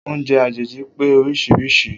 Oúnjẹ àjèjì pé oríṣiríṣi.